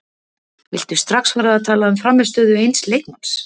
Viltu strax fara að tala um frammistöðu eins leikmanns?